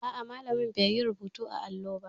A'a, malamin bai yi rubutu a allo ba.